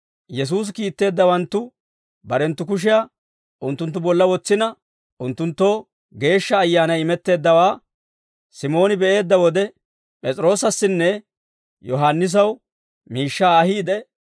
Yesuusi kiitteeddawanttu barenttu kushiyaa unttunttu bolla wotsina, unttunttoo Geeshsha Ayyaanay imetteeddawaa Simooni be'eedda wode, P'es'iroosassinne Yohaannisaw miishshaa ahiide,